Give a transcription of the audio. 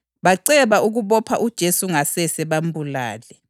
baceba ukubopha uJesu ngasese bambulale.